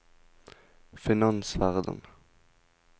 finansverden